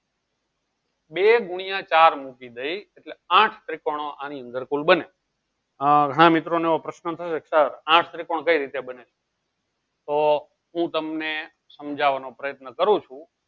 બે ગુણ્યા ચાર મૂકી દેયીસ એટલે આઠ ત્રીકોનો આની અંદર કુલ બને હા મિત્રો નું પ્રશ્નો થયો આઠ ત્રિકોણ કઈ રીતે બને તો હું તમને શામ્જવાનો પ્રયત્ન કરું છું